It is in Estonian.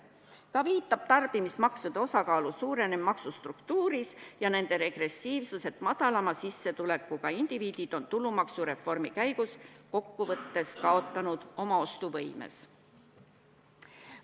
Samuti viitab tarbimismaksude osakaalu suurenemisele maksustruktuuris ja nende regressiivsus, et madalama sissetulekuga indiviidid on tulumaksureformi käigus kokkuvõttes kaotanud oma ostuvõimes.